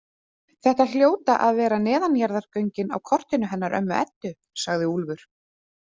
Þetta hljóta að vera neðanjarðargöngin á kortinu hennar ömmu Eddu, sagði Úlfur.